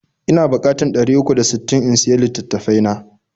Ina bukatar ɗari uku da sittin in siya litattafai na.